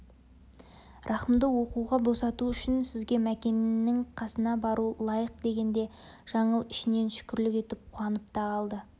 рахымды оқуға босату үшін сізге мәкеннің қасына бару лайық дегенде жаңыл ішінен шүкірлік етіп қуанып та қалды